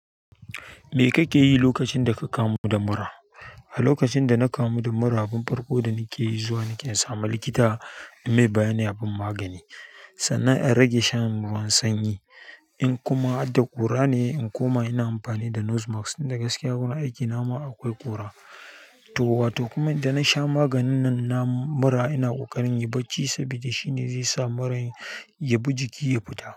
Me kake yi lokacin da ka kamu da mura? A lokacin da na kamu da mura, abin farko da nake yi zuwa nike in sami likita in mai bayanin a ban magani sannan in rage shan ruwan sanyi in kuma har da ƙura ne, in koma ina amfani da nose mask in da gaskiya wurin aikina ma akwai ƙura. To, wato kuma idan na sha maganin nan na mura ina ƙoƙarin in yi bacci saboda shine zai sa muran ya bi jiki ya fita.